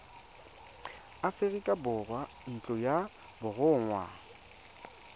aforika borwa ntlo ya borongwa